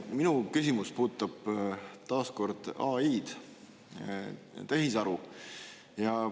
Minu küsimus puudutab taas kord AI-d, tehisaru.